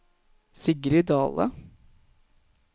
Sigrid Dahle